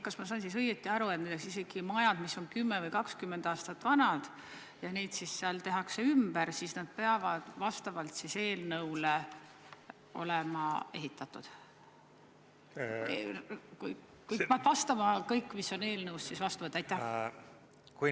Kas ma sain siis õigesti aru, et isegi majad, mis on 10 või 20 aastat vanad ja mida tehakse ümber, peavad vastavalt eelnõule olema ehitatud, peavad vastama kõigele, mis on eelnõus?